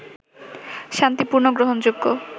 শান্তিপূর্ণ, গ্রহণযোগ্য